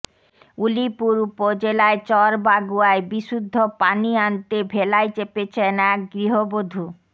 উলিপুর উপজেলায় চর বাগুয়ায় বিশুদ্ধ পানি আনতে ভেলায় চেপেছেন এক গৃহবধূ